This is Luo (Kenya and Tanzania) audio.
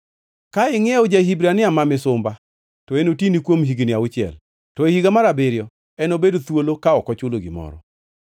“Ka ingʼiewo ja-Hibrania ma misumba, to enotini kuom higni auchiel. To e higa mar abiriyo, enobed thuolo, ka ok ochulo gimoro.